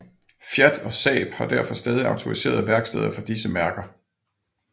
Fiat og Saab og har derfor stadig autoriserede værksteder for disse mærker